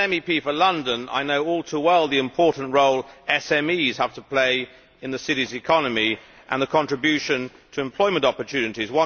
As an MEP for London, I know all too well the important role SMEs have to play in the City's economy and their contribution to employment opportunities.